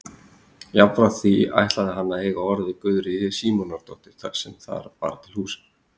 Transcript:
Jafnframt því ætlaði hann að eiga orð við Guðríði Símonardóttur sem þar var til húsa.